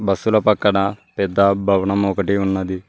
బస్సుల పక్కన పెద్ద భవనం ఒకటి ఉన్నది.